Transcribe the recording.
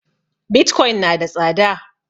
Bitcoin na da tsada